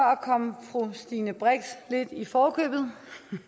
komme fru stine brix lidt i forkøbet